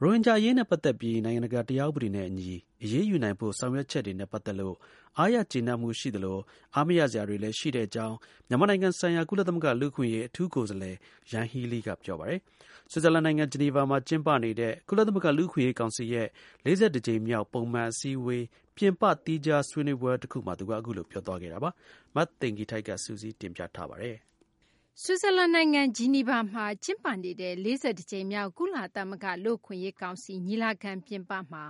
ရိုဟင်ဂျာ အရေးနဲ့ ပတ်သက်ပြီး နိုင်ငံတကာ တရားဥပဒေနဲ့ အညီ အရေးယူနိုင်ဖို့ ဆောင်ရွက်ချက်တွေနဲ့ ပတ်သက်လို့ အားရကျေနပ်မှု ရှိသလို အားမရစရာတွေလည်း ရှိတဲ့ အကြောင်း မြန်မာနိုင်ငံဆိုင်ရာ ကုလသမဂ္ဂ လူ့အခွင့်အရေး အထူးကိုယ်စားလှယ်က ပြောဆိုလိုက်ပါတယ်။ ဆွစ်ဇာလန်နိုင်ငံ ဂျီနီဗာမှာ ကျင်းပနေတဲ့ ကုလသမဂ္ဂ လူ့အခွင့်အရေး ကောင်စီရဲ့ ၄၁ ကြိမ်မြောက် ပုံမှန် အစည်းအဝေးတွေ ပြင်ပ သီးခြား ဆွေးနွေးပွဲ တခုမှာ ကုလသမဂ္ဂ အထူးကိုယ်စားလှယ် ယန်ဟီးလီက ပြောဆိုလိုက်တာပါ။ မသိင်္ဂ ီထိုက် စုစည်းတင်ပြထားပါတယ်။ ဆွစ်ဇာလန် နိုင်ငံ ဂျီနီဗာမှာ ကျင်းပနေတဲ့ ၄၁ ကြိမ်မြောက် ကုလသမဂ္ဂ လူ့အခွင့်အရေးကောင်စီ ညီလာခံ ပြင်ပမှာ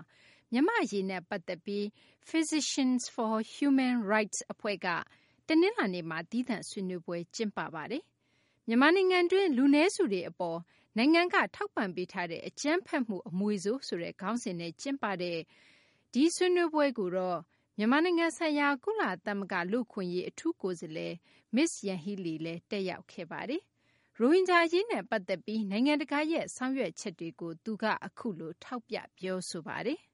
မြန်မာ့ အရေးနဲ့ ပတ်သက်ပြီး Physicians for Human Rights အဖွဲ့က တနလာၤနေ့မှာ သီးသန့် ဆွေးနွေးပွဲ ကျင်ပပါတယ်။ မြန်မာနိုင်ငံတွင်း လူနည်းစုတွေ အပေါ် နိုင်ငံက ထောက်ပံ့ပေးထားတဲ့ အကြမ်းဖက်မှု အမွေဆိုး ဆိုတဲ့ ခေါင်းစဉ်နဲ့ ကျင်းပတဲ့ ဒီဆွေးနွေးပွဲကိုတော့ မြန်မာနိုင်ငံဆိုင်ရာ ကုလသမဂ္ဂ လူ့အခွင့်အရေး အထူးကိုယ်စားလှယ် မစ္စ ယန်ဟီးလီလည်း တက်ရောက်ခဲ့ပါတယ်။ ရိုဟင်ဂျာ အရေးနဲ့ ပတ်သက်ပြီး နိုင်ငံတကာရဲ့ ဆောင်ရွက်ချက်တွေကို သူက အခုလို ထောက်ပြ ပြောဆိုပါတယ်။ "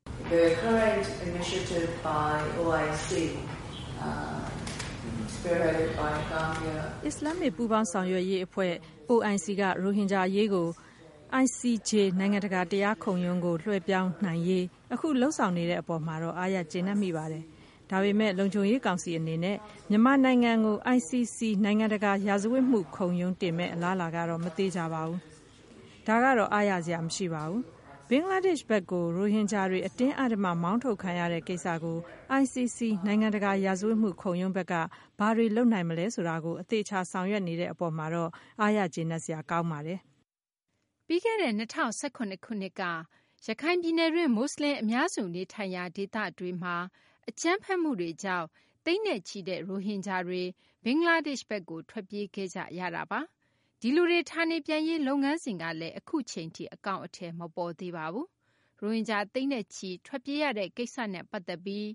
အစ္စလာမ္မစ် ပူးပေါင်းဆောင်ရွက်ရေး အဖွဲ့ OIC က ရိုဟင်ဂျာ အရေးကို ICJ နိုင်ငံတကာ တရားခုံရုံးကို လွှဲပြောင်းနိုင်ရေး အခု လုပ်ဆောင်နေတဲ့ အပေါ်မှာတော့ အားရကျေနပ်မိပါတယ်။ ဒါပေမယ့် လုံခြုံရေး ကောင်စီ အနေနဲ့ မြန်မာနိုင်ငံကို ICC နိုင်ငံတကာ ရာဇဝတ်မှုခုံရုံး တင်မယ့် အလားအလာကတော့ မသေချာပါဘူး။ ဒါကတော့ အားရစရာ မရှိပါဘူး။ ဘင်္ဂလားဒေရှ့်ဘက်ကို ရိုဟင်ဂျာတွေ အတင်းအဓမ္မ မောင်းထုတ်ခံရတဲ့ ကိစ္စကို ICC - နိုင်ငံတကာ ရာဇဝတ်မှုခုံရုံးဘက်က ဘာတွေ လုပ်နိုင်မလဲ ဆိုတာကို အသေအချာ ဆောင်ရွက်နေတဲ့ အပေါ်မှာတော့ အားရကျေနပ်စရာပါ။" ပြီးခဲ့တဲ့ ၂၀၁၇ ခုနှစ်က ရခိုင်ပြည်နယ်တွင်း မူဆလင် အများစု နေထိုင်ရာ ဒေသတွေမှာ အကြမ်းဖက်မှုတွေကြောင့် သိန်းနဲ့ချီတဲ့ ရိုဟင်ဂျာတွေ ဘင်္ဂလားဒေရှ့်ဘက်ကို ထွက်ပြေးခဲ့ကြရတာပါ။ ဒီလူတွေ ဌာနေပြန်ရေး လုပ်ငန်းစဉ်ကလည်း အခုအချိန်ထိ အကောင်အထည် မပေါ်သေးပါဘူး။ ရိုဟင်ဂျာ သိန်းနဲ့ချီ ထွက်ပြေးရတဲ့ ကိစ္စနဲ့ ပတ်သက်ပြီး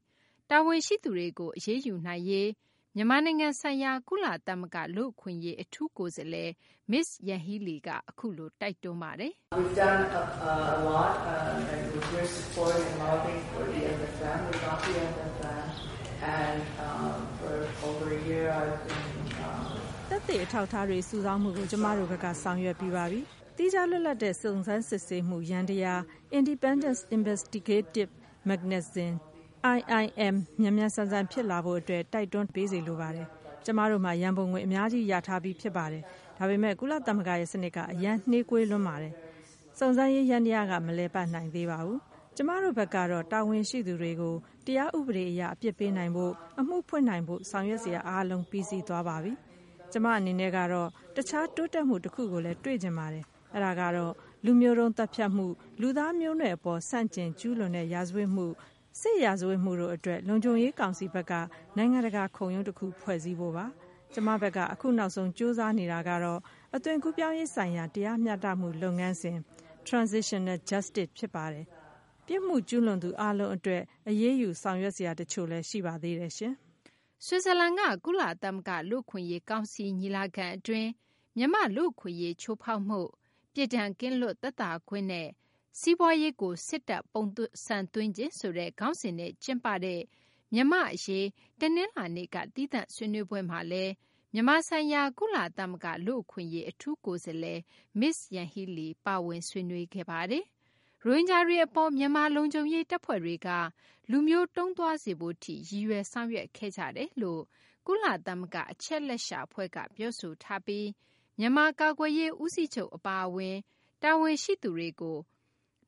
တာဝန်ရှိသူတွေကို အရေးယူနိုင်ရေးကိုလည်း မြန်မာနိုင်ငံဆိုင်ရာ ကုလသမဂ္ဂ လူ့အခွင့်အရေး အထူးကိုယ်စားလှယ် မစ္စ ယန်ဟီးလီက အခုလို တိုက်တွန်းပါတယ်။ "သက်သေအထောက်အထားတွေ စုဆောင်းမှုကို ကျမတို့ဘက်က ဆောင်ရွက်ပြီးပါပြီ။ သီးခြား လွတ်လပ်တဲ့ စုံစမ်းစစ်ဆေးမှု ယန္တယား Independence Investigative Mechanism – IIM မြန်မြန်ဆန်ဆန် ဖြစ်လာဖို့ တိုက်တွန်း ထောက်ပံ့ပေးစေလိုပါတယ်။ ကျမတို့မှာ ရံပုံငွေ အများကြီး ရထားပြီး ဖြစ်ပါတယ်။ ဒါပေမယ့် ကုလသမဂ္ဂရဲ့ စနစ်က အရမ်း နှေးကွေးပါတယ်။ စုံစမ်းရေး ယန္တရားက မလည်ပတ်နိုင်သေးပါဘူး။ ကျမတို့ဘက်ကတော့ တာဝန်ရှိသူတွေကို တရားဥပဒေ အရ အပြစ်ပေးနိုင်ဖို့၊ အမှုဖွင့်နိုင်ဖို့ ဆောင်ရွက်စရာ အားလုံး ပြီးစီးသွားပါပြီ။ ကျမ အနေနဲ့ကတော့ တခြား တိုးတက်မှု တခုကိုလည်း တွေ့ချင်ပါတယ်။ အဲဒါကတော့ လူမျိုးတုံး သတ်ဖြတ်မှု၊ လူသားမျိုးနွယ်အပေါ် ဆန့်ကျင်ကျူးလွန်တဲ့ ရာဇဝတ်မှု၊ စစ်ရာဇဝတ်မှုတို့ အတွက် လုံခြုံရေး ကောင်စီဘက်က နိုင်ငံတကာ ခုံရုံးတခု ဖွဲ့စည်းဖို့ပါ။ ကျမဘက်က အခုနောက်ဆုံး ကြိုးစားနေတာကတော့ အသွင်ကူးပြောင်းရေးဆိုင်ရာ တရားမျှတမှုလုပ်ငန်းစဉ် Transitional Justice ဖြစ်ပါတယ်။ ပြစ်မှုကျူးလွန်သူ အားလုံး အတွက် အရေးယူဆောင်ရွက် စရာ တချို့လည်း ရှိပါသေးတယ်။" ဆွစ်ဇာလန်က ကုလသမဂ္ဂ လူ့အခွင့်အရေး ကောင်စီ ညီလာခံ အတွင်း မြန်မာ့လူ့အခွင့်အရေး ချိုးဖောက်မှု၊ ပြစ်ဒဏ်ကင်းလွတ်သက်သာခွင့်နဲ့ စီးပွားရေးကို စစ်တပ်ပုံစံသွင်းခြင်းဆိုတဲ့ ခေါင်းစဉ်နဲ့ ကျင်းပတဲ့ မြန်မာ့ အရေး တနလာၤနေ့က သီးသန့် ဆွေးနွေးပွဲမှာလည်း မြန်မာဆိုင်ရာ ကုလသမဂ္ဂ လူ့အခွင့်အရေး အထူးကိုယ်စားလှယ် မစ္စ ယန်ဟီးလီ ဆွေးနွေးခဲ့ပါတယ်။ ရိုဟင်ဂျာတွေ အပေါ် မြန်မာ လုံခြုံရေး တပ်ဖွဲ့တွေက လူမျိုးတုံးသွားစေဖို့ထိ ရည်ရွယ်ဆောင်ရွက်ခဲ့ကြတယ်လို့ ကုလသမဂ္ဂ အချက်အလက်ရှာ အဖွဲ့က ပြောဆိုထားပြီး မြန်မာ ကာကွယ်ရေး ဦးစီးချုပ် အပါအဝင် တာဝန်ရှိသူတွေကို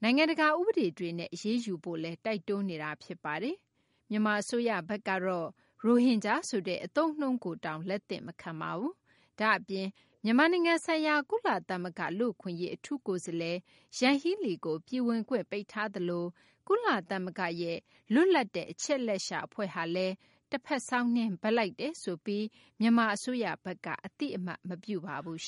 နိုင်ငံတကာ ဥပဒေတွေနဲ့အရေးယူဖို့လည်း တိုက်တွန်းနေတာ ဖြစ်ပါတယ်။ မြန်မာ အစိုးရဘက်ကတော့ ရိုဟင်ဂျာဆိုတဲ့ အသုံးအနှုန်းကိုတောင် လက်သင့်မခံပါဘူး။ ဒါ့အပြင် မြန်မာနိုင်ငံဆိုင်ရာ ကုလသမဂ္ဂ လူ့အခွင့်အရေး အထူးကိုယ်စားလှယ် ယန်းဟီးလီကို ပြည်ဝင်ခွင့် ပိတ်ထားသလို ကုလသမဂ္ဂရဲ့ လွတ်လပ်တဲ့ အချက်အလက်ရှာ အဖွဲ့ဟာလည်း တဖက်စောင်းနင်း ဘက်လိုက်တယ်ဆိုပြီး အသိအမှတ်မပြုပါဘူး